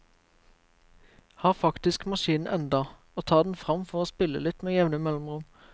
Har faktisk maskinen enda, og tar den fram for å spille litt med jevne mellomrom.